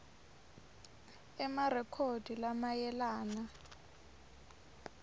c emarekhodi lamayelana